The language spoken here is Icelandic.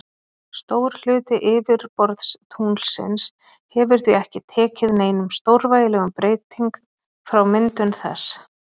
Stór hluti yfirborðs tunglsins hefur því ekki tekið neinum stórvægilegum breyting frá myndun þess.